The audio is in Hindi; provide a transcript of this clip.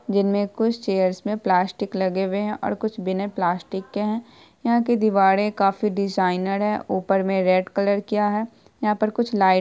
जिनमे कुछ चेयर्स में प्लास्टिक लगे हुए है और कुछ बिना प्लास्टिक के है यहां की दीवारें काफी डिजाइनर है ऊपर में रेड कलर किया है यहाँ पर कुछ लाइट --